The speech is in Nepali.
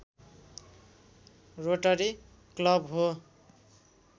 रोटरी क्लब हो